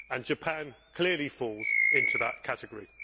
Japan clearly falls into that category.